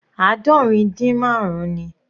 Aadọrin din marun ni.